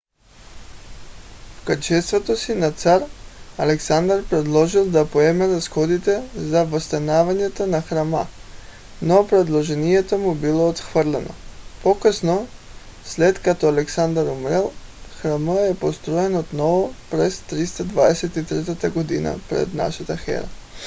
в качеството си на цар александър предложил да поеме разходите за възстановяването на храма но предложението му било отхвърлено. по-късно след като александър умрял храмът е построен отново през 323 г. пр.н.е